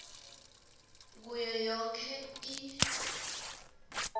kuyo yonkhe i